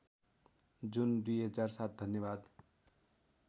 जुन २००७ धन्यवाद